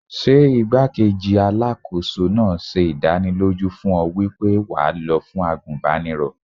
Ṣé igbá-kejì Alákóso náà ṣe ìdánilójú fún ọ wípé wà lọ fún àgùnbánirọ̀?